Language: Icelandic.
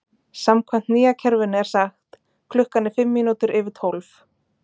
Samkvæmt nýja kerfinu er sagt: Klukkan er fimm mínútur yfir tólf.